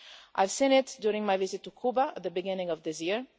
I have seen it during my visit to Cuba at the beginning of this year.